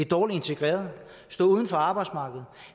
dårligt integreret stå uden for arbejdsmarkedet